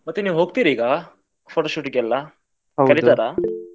ಮತ್ತೆ ನೀವ್ ಹೋಗ್ತೀರಾ ಈಗ photoshoot ಗೆಲ್ಲ .